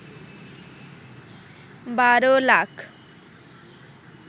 ১২ lakh